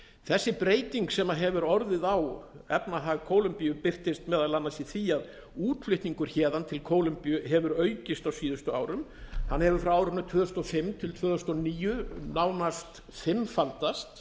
þessi breyting sem hefur orðið á efnahag kólumbíu birtist meðal annars í því að útflutningur héðan til kólumbíu hefur aukist á síðustu árum hann hefur frá árinu tvö þúsund og fimm til tvö þúsund og níu nánast fimmfaldast